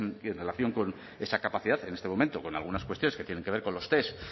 en relación con esa capacidad en este momento con algunas cuestiones que tienen que ver con los test